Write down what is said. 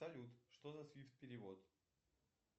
салют что за свифт перевод